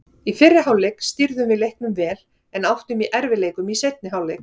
Í fyrri hálfleik stýrðum við leiknum vel en áttum í erfiðleikum í seinni hálfleik.